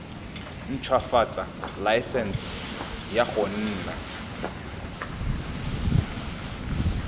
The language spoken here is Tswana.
ntshwafatsa laesense ya go nna